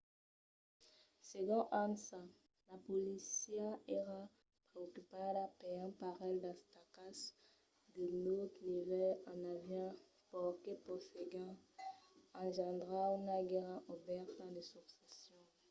segon ansa la polícia èra preocupada per un parelh d'atacas de naut nivèl e avián paur que poguèssen engendrar una guèrra obèrta de succession